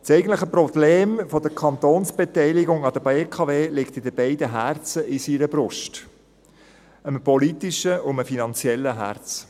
Das eigentliche Problem der Kantonsbeteiligung an der BKW liegt an den beiden Herzen in seiner Brust, einem politischen und einem finanziellen Herzen.